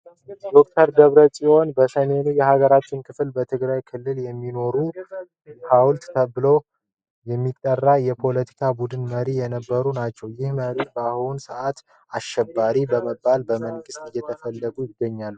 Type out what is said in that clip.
ዶክተር ደብረ ፂወን በሰሜኑ የሀገራችን ክፍል በትግራይ ክልል የሚኖሩ ህወሓት ተብሎ የሚጠራው የፓለቲካ ቡድን መሪ የነበሩ ናቸው። ይህም መሪ በአሁኑ ሰአት አሸባሪ በመባል በመንግሥት እየተፈለገ ይገኛል።